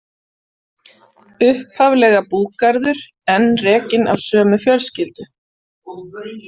Upphaflega búgarður, enn rekinn af sömu fjölskyldu.